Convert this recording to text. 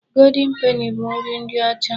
Goldin peni bụ nri ndị ọcha.